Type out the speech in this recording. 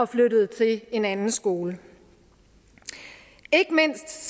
flyttede til en anden skole ikke mindst